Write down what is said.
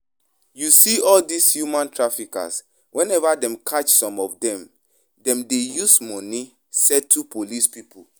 You see all dis human traffickers, whenever dem catch some of dem, dem dey use money settle police people